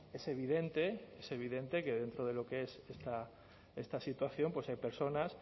es evidente es evidente que dentro de lo que es esta situación pues hay personas